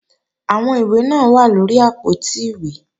Àwọn ìwé náà wà lóri àpótí ìwé